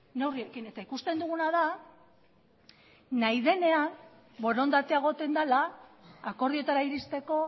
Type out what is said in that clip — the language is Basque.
neurriekin eta ikusten duguna da nahi denean borondatea egoten dela akordioetara iristeko